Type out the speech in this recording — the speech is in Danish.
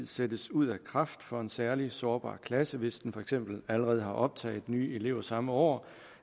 sættes ud af kraft for en særlig sårbar klasse hvis den for eksempel allerede har optaget nye elever samme år